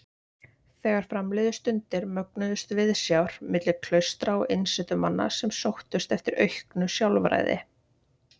Þegar fram liðu stundir mögnuðust viðsjár milli klaustra og einsetumanna sem sóttust eftir auknu sjálfræði.